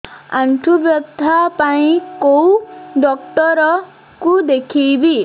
ଆଣ୍ଠୁ ବ୍ୟଥା ପାଇଁ କୋଉ ଡକ୍ଟର ଙ୍କୁ ଦେଖେଇବି